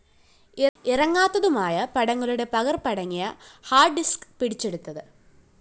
ഇറങ്ങാത്തതുമായ പടങ്ങളുടെ പകര്‍പ്പ് അടങ്ങിയ ഹാർഡ്‌ ഡിസ്ക്‌ പിടിച്ചെടുത്തത്